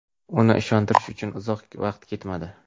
Uni ishontirish uchun uzoq vaqt ketmadi.